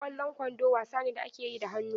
Ƙwallon kwando wasa ne da ake yi da hannu.